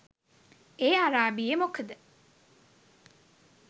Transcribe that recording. ඒ අරාබියෙ මොකද